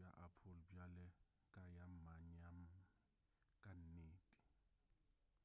ya apple bjale ka ya manyami ka nnete